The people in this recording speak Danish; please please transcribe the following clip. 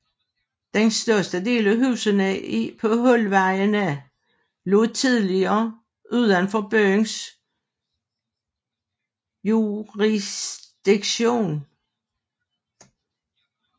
Den største del af husene på Hulvejene lå tidligere udenfor byens jurisdiktion